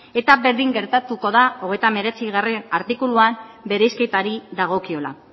eta berdin gertatuko da hogeita hemeretzigarrena artikuluan bereizketari dagokiola